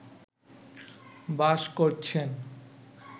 বাস করছেন